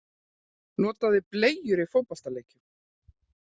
Notaði bleyjur í fótboltaleikjum